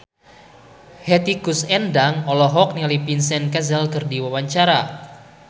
Hetty Koes Endang olohok ningali Vincent Cassel keur diwawancara